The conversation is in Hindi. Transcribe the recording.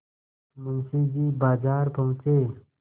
मुंशी जी बाजार पहुँचे